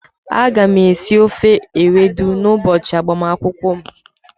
Aga m esi ofe Ewedu n'ụbọchị agbamakwụkwọ m.